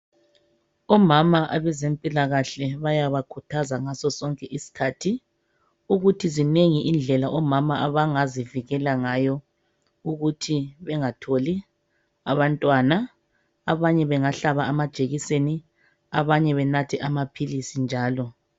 Omama abezempilakahle bayabakhuthaza ngaso sonke isikhathi ukuthi zinengi indlela omama abangazivikela ngayo ukuthi bengatholi abantwana abanye bengahlaba amajekiseni abanye benathe amaphilisi njalo.